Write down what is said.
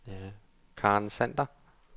Karen Sander